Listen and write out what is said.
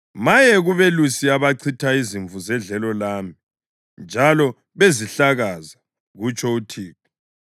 “Maye kubelusi abachitha izimvu zedlelo lami njalo bezihlakaza!” kutsho uThixo.